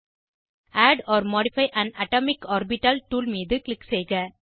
add or modify an atomic orbital tool மீது click செய்க